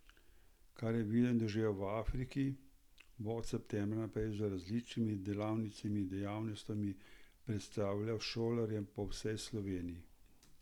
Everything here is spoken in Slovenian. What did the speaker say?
Kar je videl in doživel v Afriki, bo od septembra naprej z različnimi delavnicami in dejavnostmi predstavljal šolarjem po vsej Sloveniji.